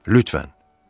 Lütfən.